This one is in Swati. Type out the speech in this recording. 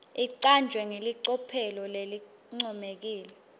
icanjwe ngelicophelo lelincomekako